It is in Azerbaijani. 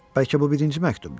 Bəlkə bu birinci məktubdur.